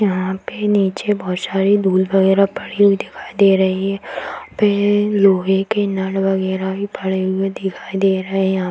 यहाँ पे निचे बहोत सारी धूल वगेरा पड़ी हुई दिखाई दे रही है पे लोहे के नल वगेरा भी पड़े हुए दिखाई दे रहे है यहा --